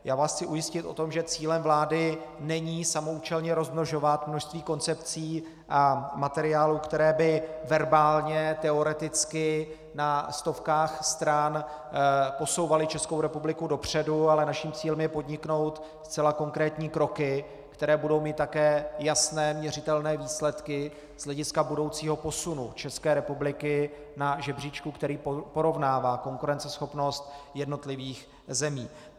Já vás chci ujistit o tom, že cílem vlády není samoúčelně rozmnožovat množství koncepcí a materiálů, které by verbálně, teoreticky na stovkách stran posouvaly Českou republiku dopředu, ale naším cílem je podniknout zcela konkrétní kroky, které budou mít také jasné, měřitelné výsledky z hlediska budoucího posunu České republiky na žebříčku, který porovnává konkurenceschopnost jednotlivých zemí.